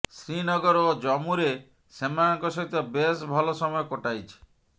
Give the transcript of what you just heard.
ଶ୍ରୀନଗର ଓ ଜମ୍ମୁରେ ସେମାନଙ୍କ ସହିତ ବେଶ୍ ଭଲ ସମୟ କଟାଇଛି